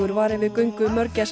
var yfir göngu